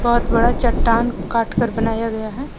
बहुत बड़ा चट्टान काट कर बनाया गया है ।